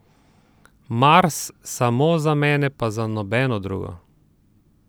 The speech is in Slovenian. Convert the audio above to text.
Mars, samo za mene pa za nobeno drugo.